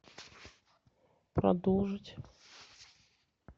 продолжить